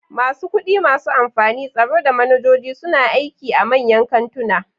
Masu kudi, masu amfani, tsaro, da manajoji suna aiki a manyan kantuna.